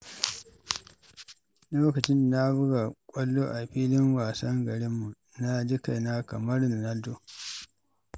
Lokacin da na buga kwallo a filin wasan garinmu, na ji kaina kamar Ronaldo.